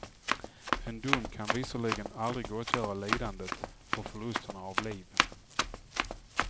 En dom kan visserligen aldrig gottgöra lidandet och förlusterna av liv.